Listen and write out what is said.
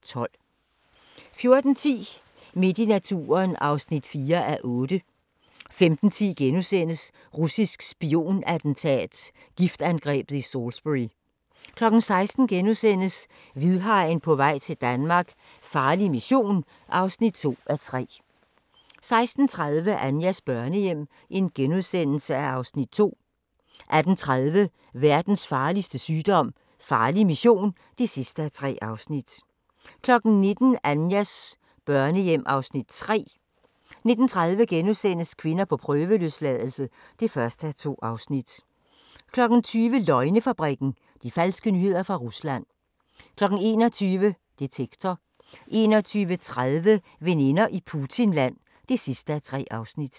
14:10: Midt i naturen (4:8) 15:10: Russisk spion-attentat: Giftangrebet i Salisbury * 16:00: Hvidhajen på vej til Danmark - farlig mission (2:3)* 16:30: Anjas børnehjem (Afs. 2)* 18:30: Verdens farligste sygdom - farlig mission (3:3) 19:00: Anjas børnehjem (Afs. 3) 19:30: Kvinder på prøveløsladelse (1:2)* 20:00: Løgnefabrikken - de falske nyheder fra Rusland 21:00: Detektor 21:30: Veninder i Putinland (3:3)